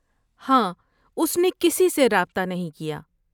ہاں اس نے کسی سے رابطہ نہیں کیا۔